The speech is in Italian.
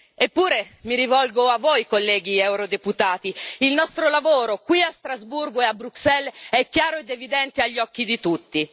Eppure, mi rivolgo a voi, colleghi deputati, il nostro lavoro qui a Strasburgo e a Bruxelles è chiaro ed evidente agli occhi di tutti.